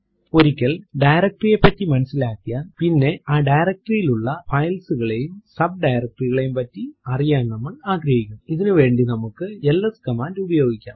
ഒരിക്കൽ ഡയറക്ടറി യെ പറ്റി മനസിലാക്കിയാൽ പിന്നെ ആ ഡയറക്ടറി ൽ ഉള്ള files കളെയൂം സബ് directory കളെയൂം പറ്റി അറിയാൻ നമ്മൾ ആഗ്രഹിക്കുംഇതിനു വേണ്ടി നമുക്ക് എൽഎസ് കമാൻഡ് ഉപയോഗിക്കാം